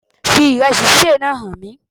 Fi ìrẹẹsì sísè náà hàn mí